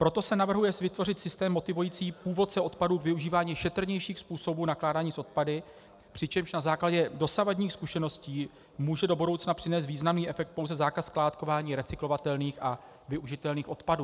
Proto se navrhuje vytvořit systém motivující původce odpadu k využívání šetrnějších způsobů nakládání s odpady, přičemž na základě dosavadních zkušeností může do budoucna přinést významný efekt pouze zákaz skládkování recyklovatelných a využitelných odpadů.